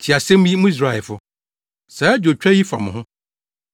Tie asɛm yi, mo Israelfo, saa adwotwa yi fa mo ho: